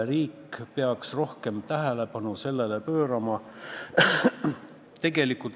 Riik peaks sellele rohkem tähelepanu pöörama.